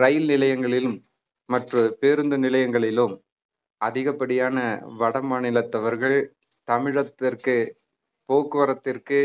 ரயில் நிலையங்களிலும் மற்ற பேருந்து நிலையங்களிலும் அதிகப்படியான வட மாநிலத்தவர்கள் தமிழகத்திற்கு போக்குவரத்திற்கு